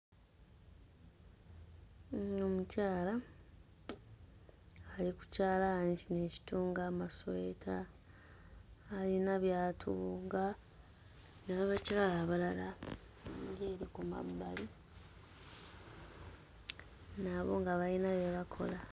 Ono omukyala ali ku kyalaani kino ekitunga amasweta, alina by'atunga, n'abakyala abalala bali eri ku mabbali nabo nga bayina bye bakola.